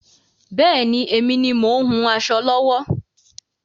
Bẹ́ẹ̀ni, èmi ni mo ń hun aṣọ lọ́wọ́.